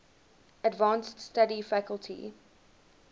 advanced study faculty